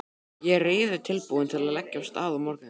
Ég er reiðubúinn til að leggja af stað á morgun.